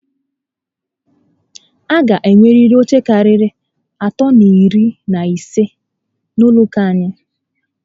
A gá enweriri oche karịa atọ na iri na ise n'ụlọ ụka anyị